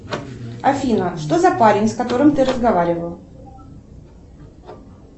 афина что за парень с которым ты разговаривала